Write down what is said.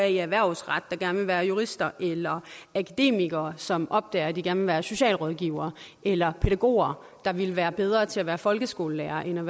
i erhvervsret der gerne vil være jurister eller akademikere som opdager at de gerne være socialrådgivere eller pædagoger der ville være bedre til at være folkeskolelærere end